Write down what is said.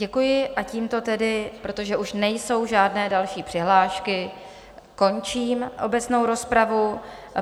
Děkuji a tímto tedy, protože už nejsou žádné další přihlášky, končím obecnou rozpravu.